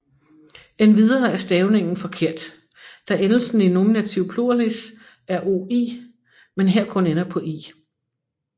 Endvidere er stavningen forkert da endelsen i nominativ pluralis er OI men her kun ender på I